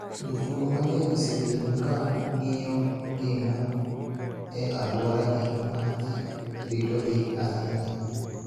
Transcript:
jotugo mang�eny osebedo ka ng�iyo ngima e alworagi ma ji ritogi ahinya.